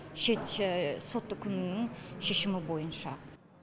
шет сот үкімінің шешімі бойынша